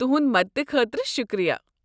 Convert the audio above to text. تہٕنٛد مدتہٕ خٲطرٕ شکریہ۔